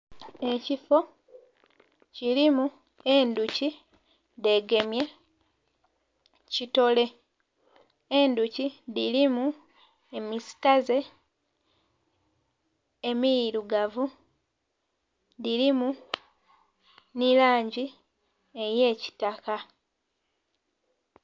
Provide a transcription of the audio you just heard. Ekifo kirimu endhoki dhegemye kitore endhoki dhirimu emisitaze emirugavu, dhirimu nilanji eyekitaka.